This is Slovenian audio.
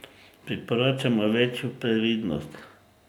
Priporočamo večjo previdnost.